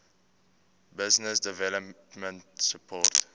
business development support